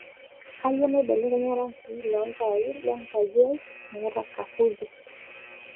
kayieu naibelekeny rangin lo ntaai lenkaji ai meeta kapuzi